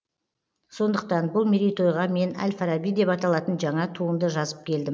сондықтан бұл мерейтойға мен әл фараби деп аталатын жаңа туынды жазып келдім